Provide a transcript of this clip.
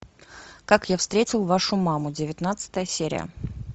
как я встретил вашу маму девятнадцатая серия